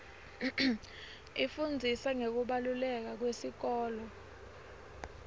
ifundzisa ngekubaluleka kwesikolo